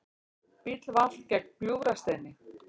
Bíll valt gegnt Gljúfrasteini